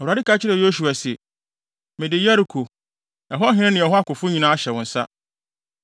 Awurade ka kyerɛɛ Yosua se, “Mede Yeriko, ɛhɔ hene ne ɛhɔ akofo nyinaa ahyɛ wo nsa.